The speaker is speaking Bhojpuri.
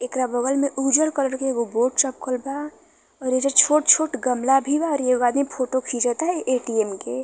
एकरा बगल में उजर कलर के एगो बोर्ड चपकल बा और एजा छोट-छोट गमला भी बा और एगो आदमी फोटो खींचता ऐटीएम के।